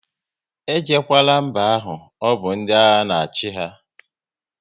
E jekwala mba ahụ, ọbụ ndị agha na achị ha!